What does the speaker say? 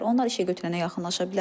Onlar işəgötürənə yaxınlaşa bilərlər.